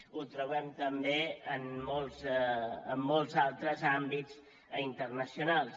ho trobem també en molts altres àmbits internacionals